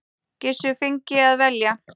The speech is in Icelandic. Gissur fengi að velja.